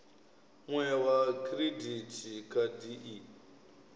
mue wa khiridithi khadi i